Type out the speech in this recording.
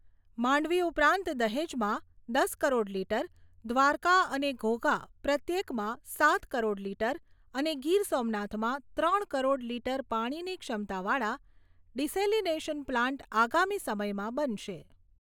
માંડવી ઉપરાંત દહેજમાં દસ કરોડ લીટર, દ્વારકા અને ઘોઘા પ્રત્યેકમાં સાત કરોડ લીટર અને ગીર સોમનાથમાં ત્રણ કરોડ લીટર પાણીની ક્ષમતાવાળા ડીસેલીનેશન પ્લાન્ટ આગામી સમયમાં બનશે.